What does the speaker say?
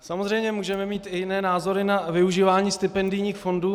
Samozřejmě můžeme mít i jiné názory na využívání stipendijních fondů.